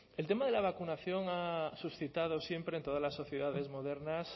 el tema de la vacunación ha suscitado siempre en todas las sociedades modernas